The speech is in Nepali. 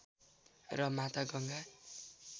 र माता गङ्गा